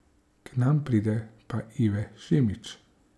K nam pride pa Ive Šimić.